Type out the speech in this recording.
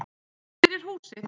Fyrir húsið.